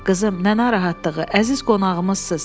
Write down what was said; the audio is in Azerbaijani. Qızım, nə narahatlığı, əziz qonağımızsız.